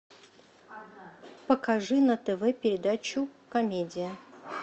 покажи на тв передачу комедия